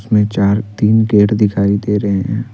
हमें चार तीन गेट दिखाई दे रहे हैं।